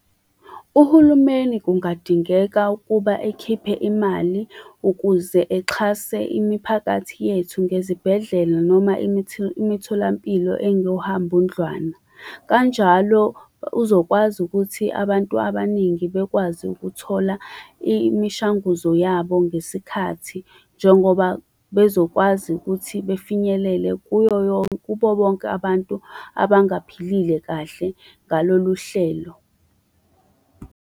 Uhulumeni kungadingeka ukuba ekhiphe imali, ukuze exhase imiphakathi yethu ngezibhedlela, noma imitholampilo engohambundlwana. Kanjalo uzokwazi ukuthi abantu abaningi bekwazi ukuthola imishanguzo yabo ngesikhathi, njengoba bezokwazi ukuthi befinyelele kuyo kubo bonke abantu abangaphilile kahle ngalolu hlelo.